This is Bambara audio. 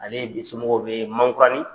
Ale somɔgɔw bɛ mankuranin .